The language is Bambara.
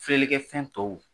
Filɛlikɛ fɛn tɔw